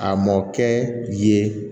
A mɔ kɛ yen